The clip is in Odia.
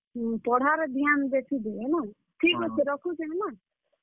ହୁଁ, ପଢାରେ ଧ୍ୟାନ ବେଶୀ ଦେ ହେଲା, ଠିକ୍ ଅଛେ ରଖୁଛେଁ ହେଲା।